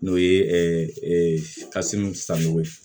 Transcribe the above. N'o ye san nɔgɔ ye